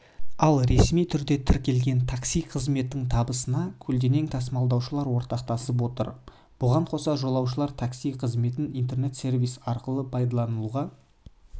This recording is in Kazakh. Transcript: ал ресми түрде тіркелген такси қызметінің табысына көлденең тасымалдаушылар ортақтасып отыр бұған қоса жолаушылар такси қызметін интернет-сервис арқылы пайдалануға машықтанып барады